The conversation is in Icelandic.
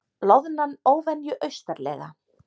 Loðnan óvenju austarlega